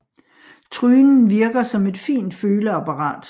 Trynen virker som et fint føleapparat